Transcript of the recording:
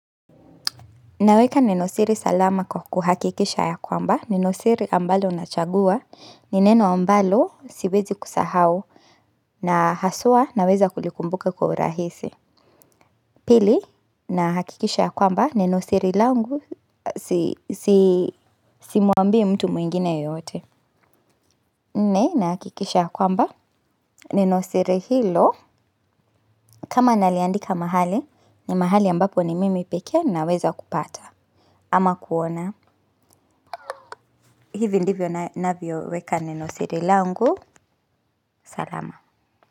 Naweka neno siri salama kuhakikisha ya kwamba, neno siri ambalo nachagua, ni neno ambalo siwezi kusahau, na haswa naweza kulikumbuka kwa urahisi. Pili, nahakikisha ya kwamba, neno siri langu, simwambii mtu mwingine yeyote. Ne, nahakikisha ya kwamba, neni siri hilo, kama naliandika mahali, ni mahali ambapo ni mimi pekee naweza kupata. Ama kuona, hivi ndivyo navyoweka neno siri langu, salama.